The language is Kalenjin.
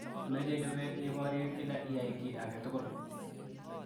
Meche chobet iborye kila iyai ki age tugul.